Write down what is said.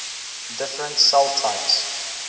different cell types